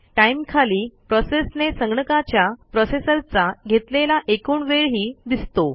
time खाली प्रोसेसने संगणकाच्या प्रोसेसरचा घेतलेला एकूण वेळही दिसतो